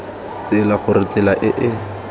tsela gore tsela e e